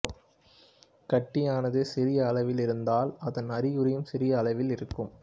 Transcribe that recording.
கட்டியானது சிறிய அளவில் இருந்தால் அதன் அறிகுறியும் சிறிய அளவில் இருக்கும்